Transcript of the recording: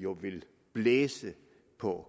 jo vil blæse på